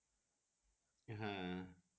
হ্যাঁ